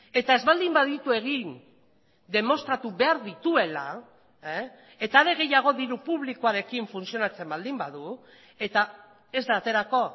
eta ez baldin baditu egin demostratu behar dituela eta are gehiago diru publikoarekin funtzionatzen baldin badu eta ez da aterako